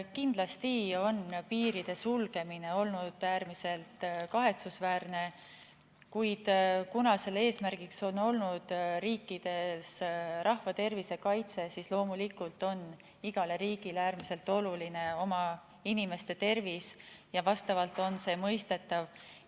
Kindlasti on piiride sulgemine olnud äärmiselt kahetsusväärne, kuid kuna selle eesmärk on olnud riikides rahva tervise kaitse – loomulikult on igale riigile äärmiselt oluline oma inimeste tervis –, siis on see mõistetav.